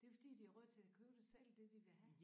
Det fordi de har råd til at købe det selv det de vil have